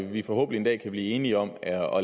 vi forhåbentlig en dag kan blive enige om at